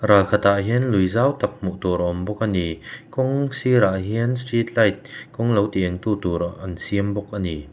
ral khatah hian lui zau tak hmuh tur a awm bawk a ni kawng sirah hian street light kawng lo ti eng tu tur an siam bawk a ni.